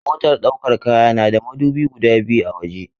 Motar ɗaukar kaya na da madubi guda biyu a waje.